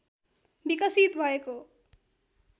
विकसित भएको